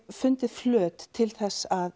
fundið flöt til þess að